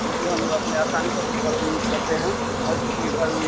क्योंकि हम लोग आसानी से अपने घरो में यूज़ करते हैं और किसी के घर में --